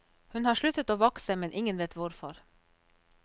Hun har sluttet å vokse, men ingen vet hvorfor.